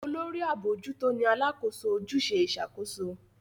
Olórí abojuto ní Alákóso ojúṣe Ìṣàkóso